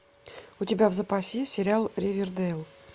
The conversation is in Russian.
у тебя в запасе есть сериал ривердейл